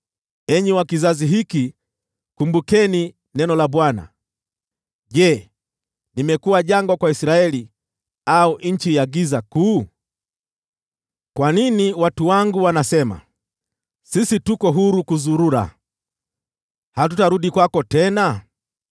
“Enyi wa kizazi hiki, tafakarini neno la Bwana : “Je, nimekuwa jangwa kwa Israeli au nchi ya giza kuu? Kwa nini watu wangu wanasema, ‘Sisi tuko huru kuzurura, hatutarudi kwako tena’?